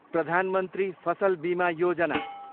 Pradhan Mantri Fasal Bima Yojana